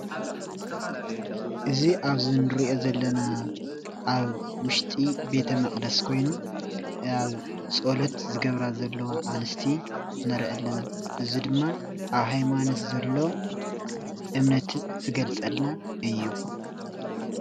እዚ ኣብ'ዚ እንሪኦ ዘለና ኣብ ውሽጢ ቤተ - መቅደስ ኮይኑ ኣብ ፀሎት ዝገብራ ዘለዋ ኣነስቲ ንርኢ ኣለና፡፡ እዚ ድማ ኣብ ሃይማኖት ዘሎ እምነት ዝገልፀልና እዩ፡፡